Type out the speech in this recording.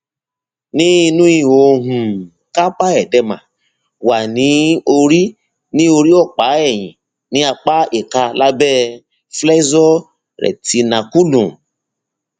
ní inú ihò um carpal edema wà ní orí ní orí ọpá ẹyìn ní apá ìka lábẹ flexor retinaculum